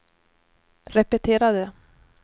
repetera det